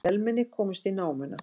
Vélmenni komst í námuna